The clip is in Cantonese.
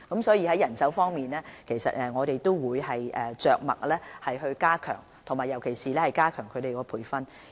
所以，在人手方面，我們會着墨更多，尤其是加強人員培訓。